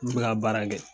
N bɛ ka baara kɛ